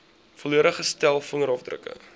volledige stel vingerafdrukke